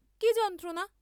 কি যন্ত্রণা?